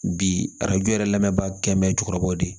Bi arajo yɛrɛ lamɛnba kɛ mɛ cɛkɔrɔbaw de ye